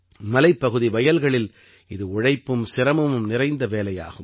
மலைப்பகுதி வயல்களில் இது உழைப்பும் சிரமமும் நிறைந்த வேலையாகும்